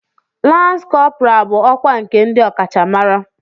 Lans kọpọral bụ ọkwá nke ndị ọkachamara.